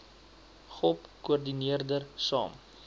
gop koördineerder saam